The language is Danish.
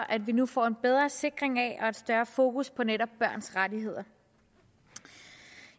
at vi nu får en bedre sikring af og et større fokus på netop børns rettigheder